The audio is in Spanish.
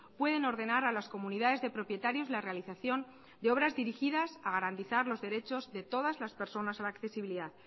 pueden ordenar a las comunidades de propietarios la realización de obras dirigidas a garantizar los derechos de todas las personas a la accesibilidad